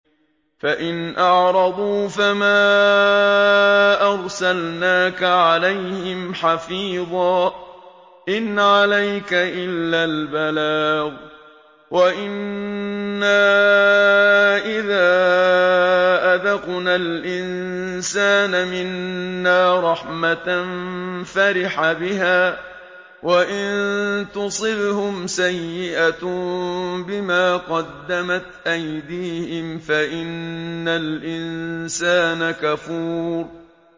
فَإِنْ أَعْرَضُوا فَمَا أَرْسَلْنَاكَ عَلَيْهِمْ حَفِيظًا ۖ إِنْ عَلَيْكَ إِلَّا الْبَلَاغُ ۗ وَإِنَّا إِذَا أَذَقْنَا الْإِنسَانَ مِنَّا رَحْمَةً فَرِحَ بِهَا ۖ وَإِن تُصِبْهُمْ سَيِّئَةٌ بِمَا قَدَّمَتْ أَيْدِيهِمْ فَإِنَّ الْإِنسَانَ كَفُورٌ